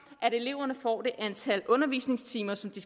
at eleverne får det antal undervisningstimer som de